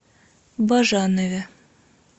бажанове